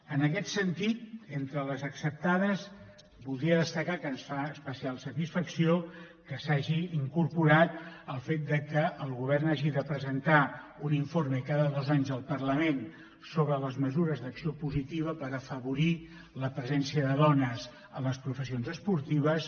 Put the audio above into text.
en aquest sentit entre les acceptades voldria destacar que ens fa especial satisfacció que s’hagi incorporat el fet que el govern hagi de presentar un informe cada dos anys al parlament sobre les mesures d’acció positiva per afavorir la presència de dones a les professions esportives